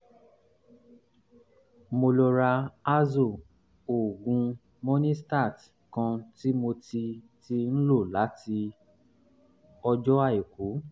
mo lọ ra azo oògùn monistat kan tí mo ti ti ń lò láti um ọjọ́ àìkú